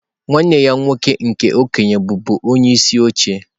Nwanne ya nwoke nke okenye bụbu onyeisi oche.